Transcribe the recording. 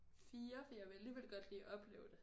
4 for jeg vil alligevel godt lige opleve det